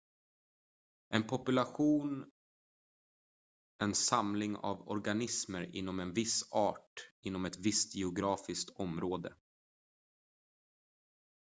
en population en samling av organismer inom en viss art inom ett visst geografiskt område